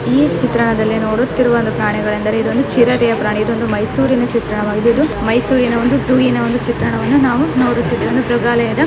ಈ ಚಿತ್ರಣದಲ್ಲಿ ನೋಡುತ್ತಿರುವ ಒಂದು ಪ್ರಾಣಿಗಳೆಂದರೆ ಇದು ಒಂದು ಚಿರತೆಯ ಪ್ರಾಣಿ ಇದೊಂದು ಮೈಸೂರಿನ ಚಿತ್ರಣವಾಗಿದೆ ಇದು ಮೈಸೂರಿನ ಒಂದು ಜೂವಿನ ಒಂದು ಚಿತ್ರಣವನ್ನು ನಾವು ನೋಡುತಿದ್ದೇವೆ ಇದು ಮೃಗಾಲಯದ --